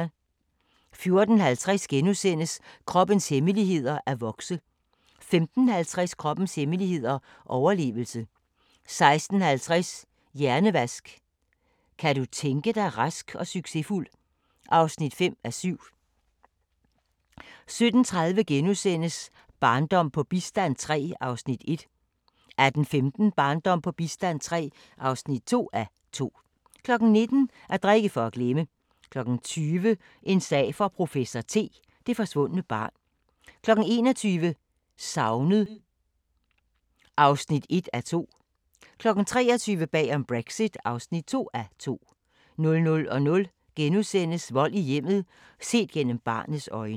14:50: Kroppens hemmeligheder: At vokse * 15:50: Kroppens hemmeligheder: Overlevelse 16:50: Hjernevask – Kan du tænke dig rask og succesfuld? (5:7) 17:30: Barndom på bistand III (1:2)* 18:15: Barndom på bistand III (2:2) 19:00: At drikke for at glemme 20:00: En sag for professor T: Det forsvundne barn 21:00: Savnet (1:2) 23:00: Bag om Brexit (2:2) 00:00: Vold i hjemmet – set gennem barnets øjne *